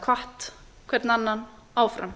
hvatt hver annan áfram